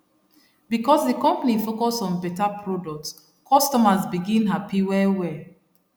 because the company focus on better product customers begin happy well well